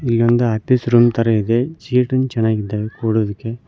ಇಲ್ಲಿ ಒಂದು office room ತರ ಇದೆ ಸ್ವೀಟನ್ ಚೆನ್ನಾಗಿದೆ ಕೊಡೋದಕ್ಕೆ.